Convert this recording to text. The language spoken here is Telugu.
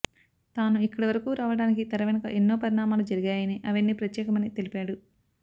తాను ఇక్కడివరకూ రావడానికి తెర వెనుక ఎన్నో పరిణామాలు జరిగాయని అవన్నీ ప్రత్యేకమేనని తెలిపాడు